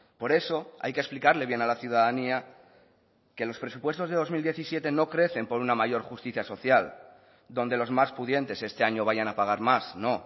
por eso hay que explicarle bien a la ciudadanía que los presupuestos de dos mil diecisiete no crecen por una mayor justicia social donde los más pudientes este año vayan a pagar más no